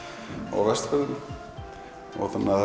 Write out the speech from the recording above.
á Vestfjörðum þetta